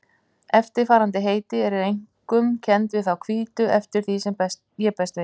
Eftirfarandi heiti eru einkum kennd við þá hvítu eftir því sem ég best veit.